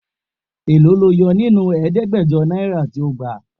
Èló ni o yo nínú ẹ̀ẹ́dẹ́gbẹ̀jọ náírà tí o gbà?